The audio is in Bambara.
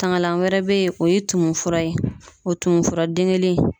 Tangalan wɛrɛ bɛ yen , o ye tumu fura ye , o tumufura den kelen in